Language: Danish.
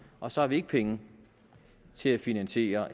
og så har vi ikke penge til at finansiere